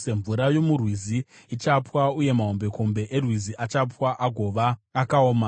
Mvura yomurwizi ichapwa, uye mahombekombe erwizi achapwa agova akaoma.